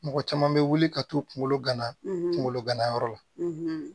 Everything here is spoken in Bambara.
Mɔgɔ caman bɛ wuli ka t'u kunkolo gana kungolo ganayɔrɔ la